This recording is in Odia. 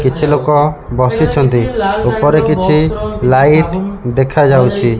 କିଛି ଲୋକ ବସିଛନ୍ତି ଉପରେ କିଛି ଲାଇଟ ଦେଖାଯାଉଛି।